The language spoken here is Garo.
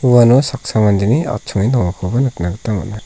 uano saksa mandeni achonge dongakoba nikna gita man·a.